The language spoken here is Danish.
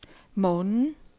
morgenen